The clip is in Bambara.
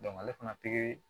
ale fana pikiri